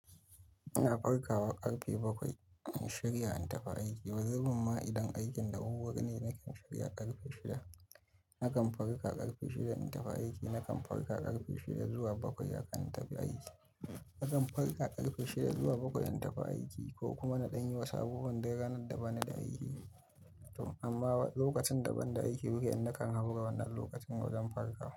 Ina farkawa karfe bakwai in shirya in tafi aiki. Wazifama idan aikin da wurwurine nakan shirya karfe shida. Nakan farka karfe shida in tafi aiki. Nakan farka karfe shida zuwa bakwai akan tafi aiki. Nakan farka karfe shida zuwa bakwai in tafi aiki ko kuma na ɗan yi wasu abubuwan dai ranar da ba ni da aiki. Amma lokacin da ban da aiki wiken nakan haura wannan lokacin wajen farkawa.